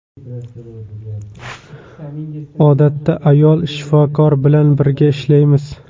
Odatda ayol shifokor bilan birga ishlaymiz.